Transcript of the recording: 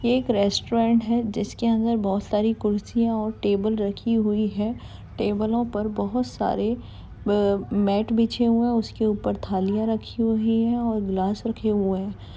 ये एक ये एक रेस्टोरेंट है जिसके अंदर बहुत सारी कुर्सियां और टेबल रखी हुईं हैं टेबलों पर बहुत सारे आ मैट बिछे हुए है उसके ऊपर थालियां रखी हुई हैं और ग्लास रखें हुए हैं।